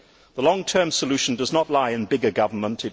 The long term solution does not lie in bigger government.